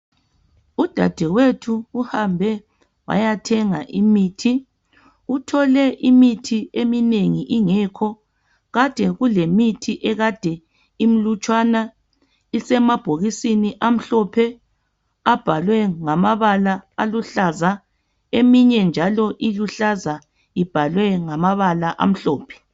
Udadewethu uhambe wayathenga imithi Uthole imithi eminengi ingekho kade kulemithi ekade imlutshwana isemabhokisini amhlophe abhalwe ngamabala aluhlaza eminye njalo iluhlaza ibhalwe ngamabala amhlophe